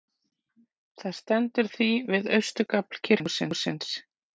Það stendur því við austurgafl kirkjuhússins.